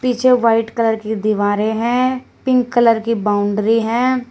पीछे white colour की दीवारें हैं पिंक कलर की बाउंड्री हैं।